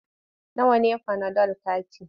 Nawa ne fanadol kati?